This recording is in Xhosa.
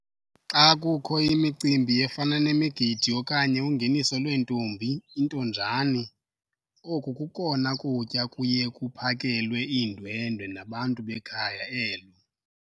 Xa kukho imicimbi efana nemigidi okanye ungeniso lweentombi intonjane, oku kokona kutya kuye kuphakelwe iindwendwe nabantu bekhaya elo.